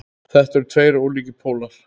Þetta eru tveir ólíkir pólar.